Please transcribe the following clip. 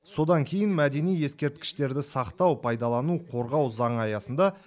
содан кейін мәдени ескерткіштерді сақтау пайдалану қорғау заңы аясында